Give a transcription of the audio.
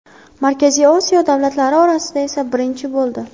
Markaziy Osiyo davlatlari orasida esa birinchi bo‘ldi.